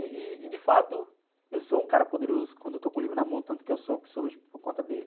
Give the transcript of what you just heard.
E, e de fato, eu sou um cara poderoso quando eu estou com o livro na mão, tanto que eu sou o que sou hoje por conta dele.